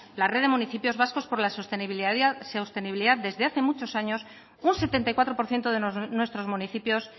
la red de municipios vascos por la sostenibilidad desde hace muchos años un setenta y cuatro por ciento de nuestros municipios